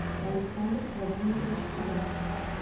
александр владимирович курасов